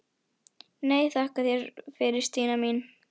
Nei, þakka þér fyrir Stína mín.